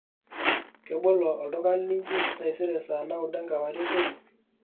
kebolo olduka linji taisere saa naudo enkewarie kweli